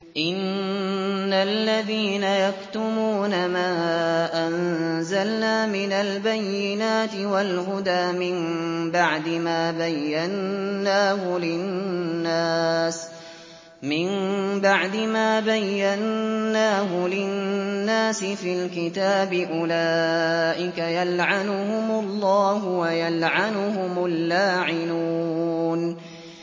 إِنَّ الَّذِينَ يَكْتُمُونَ مَا أَنزَلْنَا مِنَ الْبَيِّنَاتِ وَالْهُدَىٰ مِن بَعْدِ مَا بَيَّنَّاهُ لِلنَّاسِ فِي الْكِتَابِ ۙ أُولَٰئِكَ يَلْعَنُهُمُ اللَّهُ وَيَلْعَنُهُمُ اللَّاعِنُونَ